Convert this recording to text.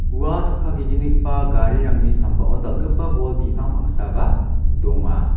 ua chakka ge·gnigipa garirangni sambao bol bipang pangsaba donga.